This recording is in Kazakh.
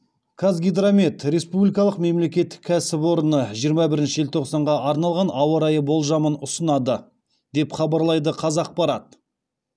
қазгидромет республикалық мемлекеттік кәсіпорыны жиырма бірінші желтоқсанға арналған ауа райы болжамын ұсынады деп хабарлайды қазақпарат